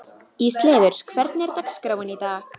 Ísleifur, hvernig er dagskráin í dag?